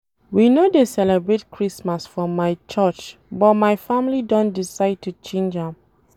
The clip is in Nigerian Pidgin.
We no dey celebrate Christmas for my curch but my family don decide to change am